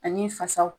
Ani fasaw